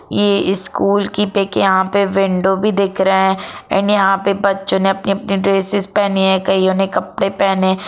ये स्कूल की पिक यहाँ पे विंडो भी दिख रहे है एंड यहाँ पे बच्चो ने अपने अपने ड्रेसेस पहने है कईयों ने कपडे पहने--